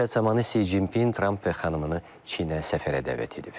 Söhbət zamanı Si Jinpin Tramp və xanımını Çinə səfərə dəvət edib.